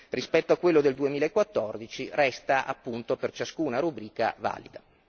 rispetto a quello del 2014 resta, appunto per ciascuna rubrica, valido.